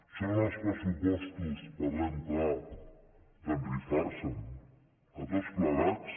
són els pressupostos parlem clar de rifar se’ns a tots plegats